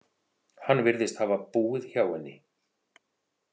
Hann virðist hafa búið hjá henni.